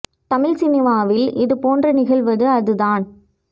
தமிழ் சினிமாவில் இது போன்று நிகழ்வது அது தான்